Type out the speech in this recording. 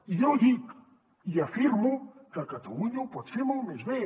i jo dic i afirmo que catalunya ho pot fer molt més bé